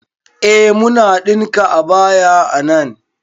Eh muna ɗinka abaya a nan